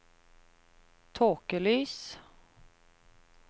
tåkelys